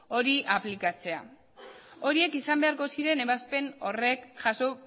hori aplikatzea horiek izan beharko ziren ebazpen horrek jaso